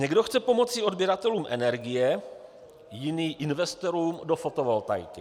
Někdo chce pomoci odběratelům energie, jiný investorům do fotovoltaiky.